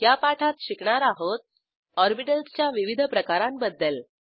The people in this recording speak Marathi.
या पाठात शिकणार आहोत ऑरबिटल्सच्या विविध प्रकारांबद्दल